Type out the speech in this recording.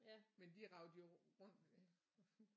Men de raget jo rundt med